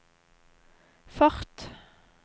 fart